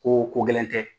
Ko ko gɛlɛn tɛ